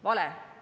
Vale!